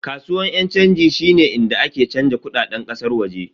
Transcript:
Kasuwan yan chanji shine inda ake canza kudaden kasar waje.